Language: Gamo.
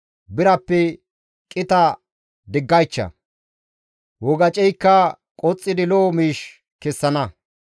Birappe qita diggaycha; wogaceykka qoxxidi lo7o miish kessana.